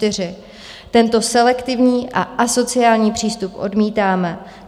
Tento selektivní a asociální přístup odmítáme.